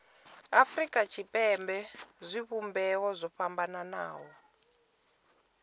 afurika tshipembe zwivhumbeo zwo fhambanaho